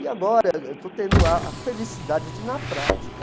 E agora eu estou tendo a a felicidade de, na prática,